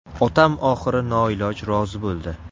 Otam oxiri noiloj rozi bo‘ldi.